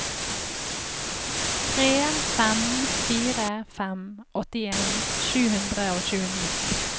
tre fem fire fem åttien sju hundre og tjueni